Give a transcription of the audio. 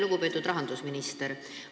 Lugupeetud rahandusminister!